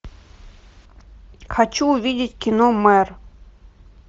хочу увидеть кино мэр